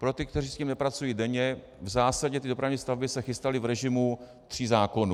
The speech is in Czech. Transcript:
Pro ty, kteří s tím nepracují denně, v zásadě ty dopravní stavby se chystaly v režimu tří zákonů.